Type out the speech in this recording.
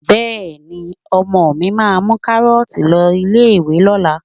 Bẹ́ẹ̀ni, ọmọ mi máa mú kárọ́tì lọ ilé ìwé lọ́la